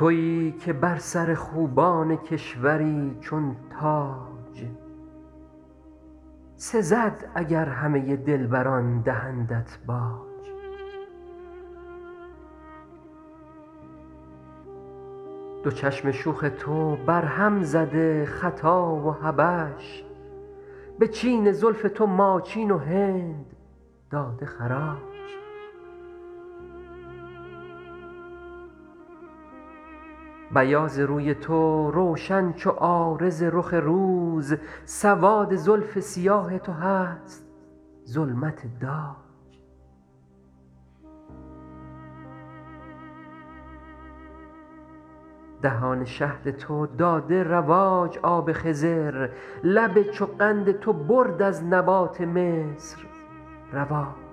تویی که بر سر خوبان کشوری چون تاج سزد اگر همه دلبران دهندت باج دو چشم شوخ تو برهم زده خطا و حبش به چین زلف تو ماچین و هند داده خراج بیاض روی تو روشن چو عارض رخ روز سواد زلف سیاه تو هست ظلمت داج دهان شهد تو داده رواج آب خضر لب چو قند تو برد از نبات مصر رواج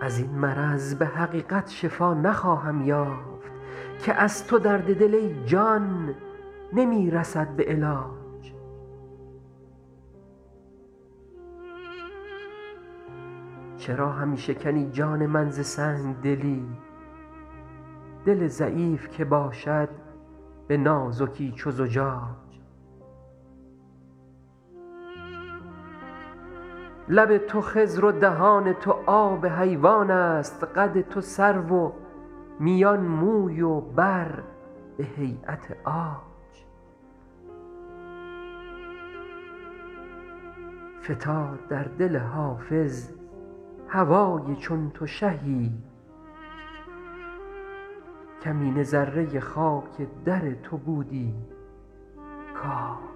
از این مرض به حقیقت شفا نخواهم یافت که از تو درد دل ای جان نمی رسد به علاج چرا همی شکنی جان من ز سنگ دلی دل ضعیف که باشد به نازکی چو زجاج لب تو خضر و دهان تو آب حیوان است قد تو سرو و میان موی و بر به هییت عاج فتاد در دل حافظ هوای چون تو شهی کمینه ذره خاک در تو بودی کاج